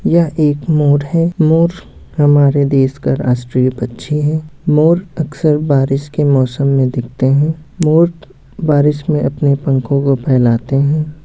यह एक मोर है मोर हमारे देश का राष्ट्रीय पक्षी है मोर अक्सर बारिश के मौसम में दिखते है मोर बारिश में अपने पंखों को फैलाते हैं।